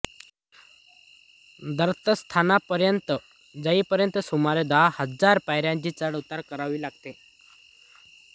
दत्तस्थानापर्यंत जाईपर्यंत सुमारें दहा हजार पायऱ्यांची चढउतार करावी लागते